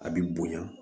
A bi bonya